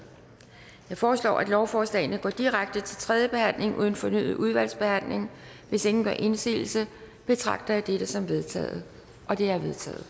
jeg foreslår at lovforslagene går direkte til tredje behandling uden fornyet udvalgsbehandling hvis ingen gør indsigelse betragter jeg det som vedtaget det er